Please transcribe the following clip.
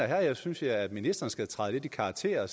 her synes jeg at ministeren skal træde lidt i karakter